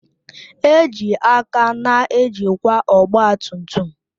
Eji aka na-ejikwa ọgba tum tum